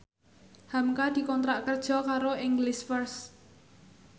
hamka dikontrak kerja karo English First